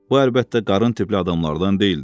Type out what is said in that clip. Bu əlbəttə qarın tipli adamlardan deyildi.